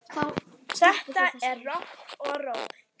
Þetta er rokk og ról.